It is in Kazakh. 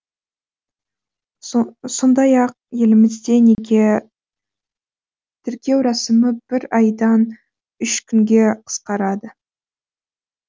сондай ақ елімізде неке тіркеу рәсімі бір айдан үш күнге қысқарады